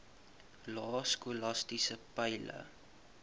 lae skolastiese peile